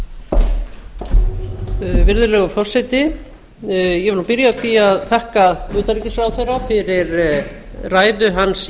inn á virðulegur forseti ég vil byrja á því að þakka utanríkisráðherra fyrir ræðu hans